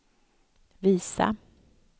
visa